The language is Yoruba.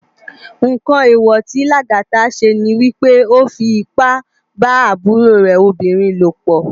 Nkán éwò ti Lagata sé ni wipé ó fi ipá bá àbúró rè óbirin lópò